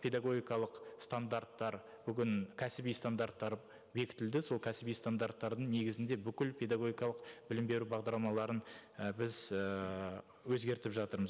педагогикалық стандарттар бүгін кәсіби стандарттар бекітілді сол кәсіби стандарттардың негізінде бүкіл педагогикалық білім беру бағдарламаларын і біз і өзгертіп жатырмыз